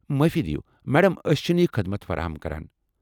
معٲفی دیو ، میڈم۔ أسۍ چِھنہٕ یہ خدمت فراہم کران ۔